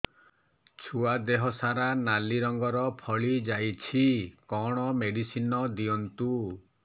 ଛୁଆ ଦେହ ସାରା ନାଲି ରଙ୍ଗର ଫଳି ଯାଇଛି କଣ ମେଡିସିନ ଦିଅନ୍ତୁ